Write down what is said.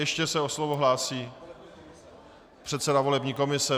Ještě se o slovo hlásí předseda volební komise.